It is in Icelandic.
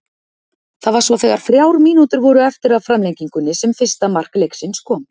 Það var svo þegar þrjár mínútur voru eftir af framlengingunni sem fyrsta mark leiksins kom.